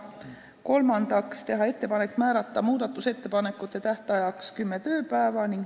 Kolmandaks otsustati teha ettepanek määrata muudatusettepanekute esitamise tähtajaks kümme tööpäeva.